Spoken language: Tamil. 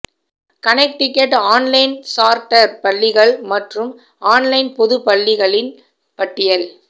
கனெக்டிகட் ஆன்லைன் சார்ட்டர் பள்ளிகள் மற்றும் ஆன்லைன் பொது பள்ளிகளின் பட்டியல்